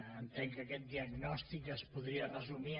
entenc que aquest diagnòstic es podria resumir